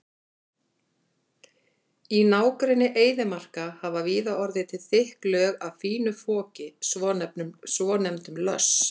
Í nágrenni eyðimarka hafa víða orðið til þykk lög af fínu foki, svonefndum löss.